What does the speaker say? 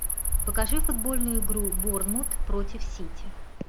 покажи футбольную игру борнмут против сити